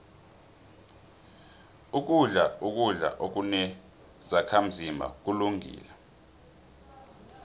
ukudla ukudla okunezakhazimba kulungile